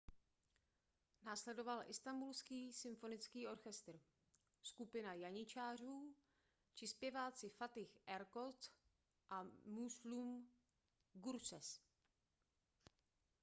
následoval istanbulský symfonický orchestr skupina janičářů či zpěváci fatih erkoç a müslüm gürses